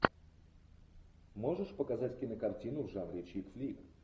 можешь показать кинокартину в жанре чик флик